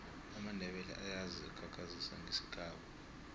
amandebele ayazi khakhazisa ngesikhabo